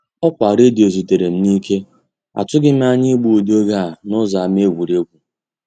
Ọkwa redio zutere m n'ike; atụghị m anya igbu ụdị oge a n'ụzọ ama egwuregwu.